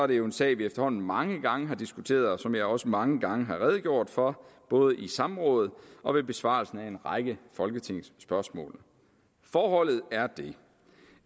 det er en sag vi efterhånden mange gange har diskuteret og som jeg også mange gange har redegjort for både i samråd og ved besvarelsen af en række folketingsspørgsmål forholdet er det